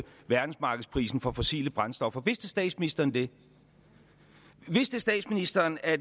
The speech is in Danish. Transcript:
verdensmarkedsprisen på fossile brændstoffer vidste statsministeren det vidste statsministeren at